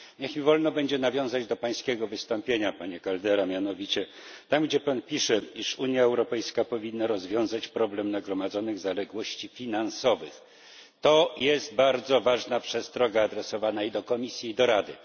Niech mi wolno będzie nawiązać do pańskiego wystąpienia, panie Caldeira, mianowicie tam gdzie pan pisze, iż Unia Europejska powinna rozwiązać problem nagromadzonych zaległości finansowych, to jest bardzo ważna przestroga adresowana i do Komisji, i do Rady.